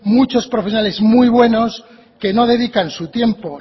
muchos profesionales muy buenos que no dedican su tiempo